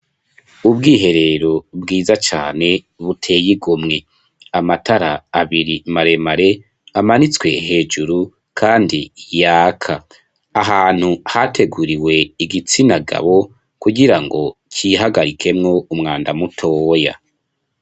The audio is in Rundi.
Ubwiherero bwiza cane, buteye igomwe; amatara abiri maremare, amanitswe hejuru, kandi yaka; ahantu hateguriwe igitsina gabo, kugira ngo cihagarikemwo, umwanda mutoya.